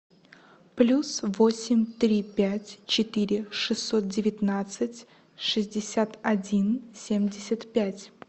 плюс восемь три пять четыре шестьсот девятнадцать шестьдесят один семьдесят пять